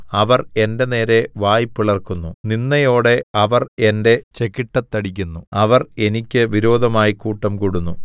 അവർ എന്റെ നേരെ വായ് പിളർക്കുന്നു നിന്ദയോടെ അവർ എന്റെ ചെകിട്ടത്തടിക്കുന്നു അവർ എനിയ്ക്ക് വിരോധമായി കൂട്ടം കൂടുന്നു